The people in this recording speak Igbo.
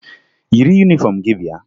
Yiri yunifọmụ gị bịa!